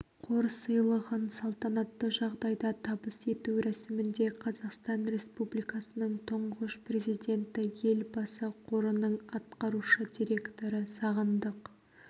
қор сыйлығын салтанатты жағдайда табыс ету рәсімінде қазақстан республикасының тұңғыш президенті елбасы қорының атқарушы директоры сағындық